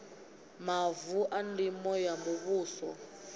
mavu a ndimo a muvhuso